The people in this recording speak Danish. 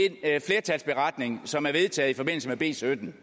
beretning som har vedtaget i forbindelse med b sytten